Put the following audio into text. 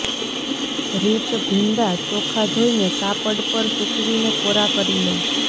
રીતઃ ભીંડા ચોખ્ખાં ધોઈને કાપડ પર સૂકવીને કોરા કરી લો